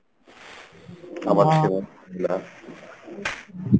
আমার ছিল